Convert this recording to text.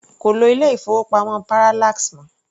Kò lo ilé-ìfowópamọ́ Parallax mọ́.